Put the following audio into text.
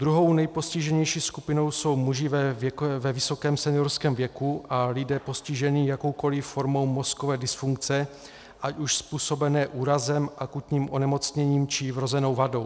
Druhou nejpostiženější skupinou jsou muži ve vysokém seniorském věku a lidé postiženi jakoukoliv formou mozkové dysfunkce, ať už způsobené úrazem, akutním onemocněním, či vrozenou vadou.